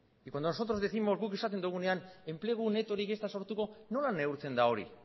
y cuando nosotros décimos guk esaten dugunean enplegu netorik ez da sortuko nola neurtzen da hori